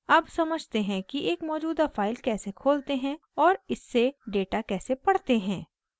अब समझते हैं कि एक मौजूदा फाइल कैसे खोलते हैं और इससे डेटा कैसे पढ़ते हैं